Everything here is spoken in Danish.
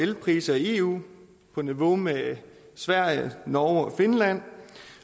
elpriser i eu på niveau med sverige norge og finland